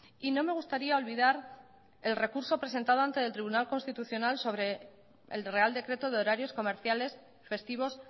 y no me gustaría olvidar el recurso presentado ante el tribunal constitucional sobre el real decreto de horarios comerciales festivos